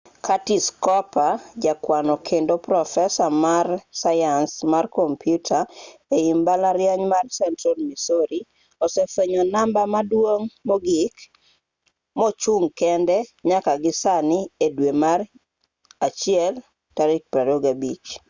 curtis cooper ja kwano kendo profesa mar sayans mar komputa ei mbalariany mar central missouri osefuenyo namba maduong' mogik mochung' kende nyaka gi sani e dwe mar januari 25